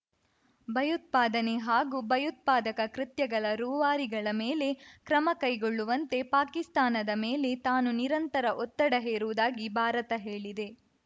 ಭಯೋತ್ಪಾದನೆ ಹಾಗೂ ಭಯೋತ್ಪಾದಕ ಕೃತ್ಯಗಳ ರೂವಾರಿಗಳ ಮೇಲೆ ಕ್ರಮ ಕೈಗೊಳ್ಳುವಂತೆ ಪಾಕಿಸ್ತಾನದ ಮೇಲೆ ತಾನು ನಿರಂತರ ಒತ್ತಡ ಹೇರುವುದಾಗಿ ಭಾರತ ಹೇಳಿದೆ